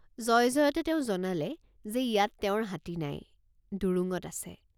জয়জয়তে তেওঁ জনালে যে ইয়াত তেওঁৰ হাতী নাই ডুৰুঙত আছে।